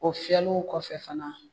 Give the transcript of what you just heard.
O fiyɛliw kɔfɛ fana